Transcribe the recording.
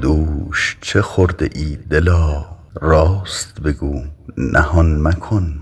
دوش چه خورده ای دلا راست بگو نهان مکن